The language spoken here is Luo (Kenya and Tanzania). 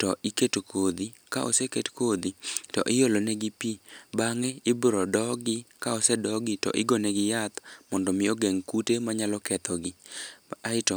to iketo kodhi, ka oseket kodhi, to iolo negi pi. Bang'e, ibiro dogi ka osedogi, to igonegi yath mondo omi ogeng' kute manyalo kethogi. Aeto